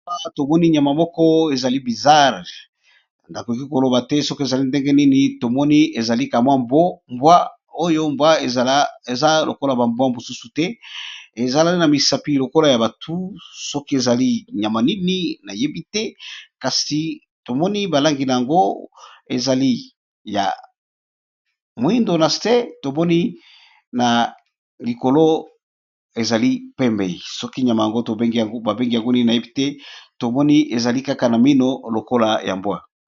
Tomoni nyama moko ezali bizarre nakoki koloba te soki ezali ndenge nini tomoni ezali kamwa mbwa oyo eza lokola bambwa mosusu te, ezalai na misapi lokola ya batu soki ezali nyama nini nayebi te, kasi tomoni balangi na yango ezali ya moindo nasee tomoni na likolo ezali pembei, soki nyama yango babengi yango nini nayebi te, tomoni ezali kaka na mino lokola ya mbwa.